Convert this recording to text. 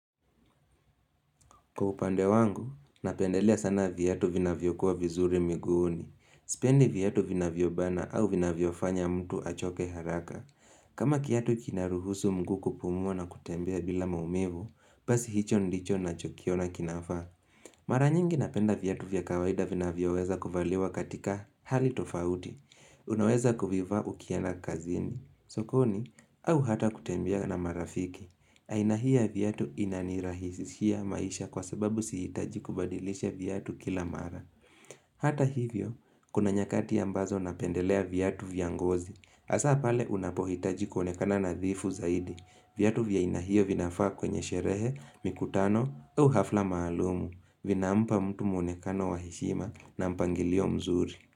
Kwa upande wangu, napendelea sana viatu vinavyokuwa vizuri miguuni. Sipendi vyatu vinavyobana au vinavyofanya mtu achoke haraka. Kama kiatu kina ruhusu mguu kupumuwa na kutembea bila maumivu, basi hicho ndicho nachokiona kinafaa. Mara nyingi napenda viatu vya kawaida vinaviyoweza kuvaliwa katika hali tofauti. Unaweza kuvivaa ukianda kazini, sokoni, au hata kutembea na marafiki. Aina hii ya viatu inanirahisishia maisha kwa sababu siitaji kubadilisha viatu kila mara. Hata hivyo, kuna nyakati ambazo napendelea viatu vya ngozi. Hasa pale unapohitaji kuonekana nadhifu zaidi. Viatu vya aina hio vinafaa kwenye sherehe, mikutano, au hafla maalumu. Vinampa mtu muonekano wa heshima na mpangilio mzuri.